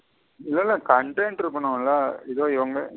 இல்ல இல்ல content இருகணுல. இதோ இவுங்க.